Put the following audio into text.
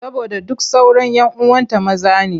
Saboda duk sauran 'yan uwanta maza ne.